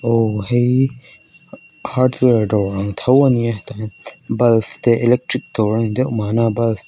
aw hei hardware dawr ang tho ania tahhian bulfs te electric dawr ani deuh mahna build te--